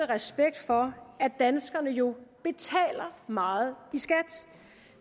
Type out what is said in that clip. respekt for at danskerne jo betaler meget i skat